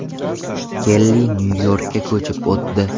Kelli Nyu-Yorkka ko‘chib o‘tdi.